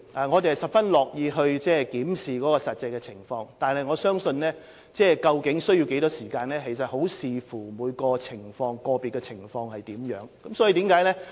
我們十分樂意檢視實際情況，但究竟住宿期需要多長時間，我想要視乎個別情況而定。